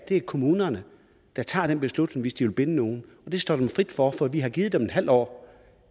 er kommunerne der tager den beslutning hvis de vil binde nogen det står dem frit for for vi har givet dem et halvt år